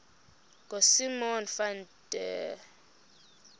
ngosimon van der